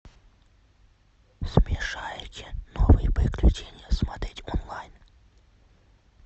смешарики новые приключения смотреть онлайн